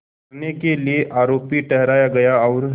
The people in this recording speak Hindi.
करने के लिए आरोपी ठहराया गया और